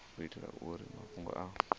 u itela uri mafhungo a